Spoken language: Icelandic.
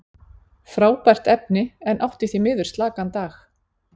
Frábært efni, en átti því miður slakan dag.